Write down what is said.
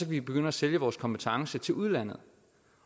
vi begynde at sælge vores kompetencer til udlandet